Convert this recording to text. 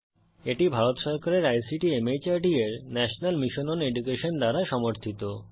এটি ভারত সরকারের ICT MHRD এর ন্যাশনাল মিশন ওন এডুকেশন দ্বারা সমর্থিত